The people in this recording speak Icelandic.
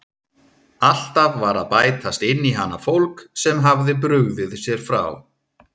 Alltaf var að bætast inn í hana fólk sem hafði brugðið sér frá.